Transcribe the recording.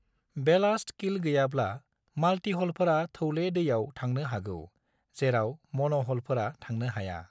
Ballast keel गैयाब्ला, माल्टिहलफोरा थौले दैयाव थांनो हागौ जेराव मन'ह'लफोरा थांनो हाया।